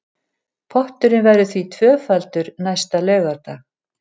Potturinn verður því tvöfaldur næsta laugardag